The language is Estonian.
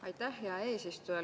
Aitäh, hea eesistuja!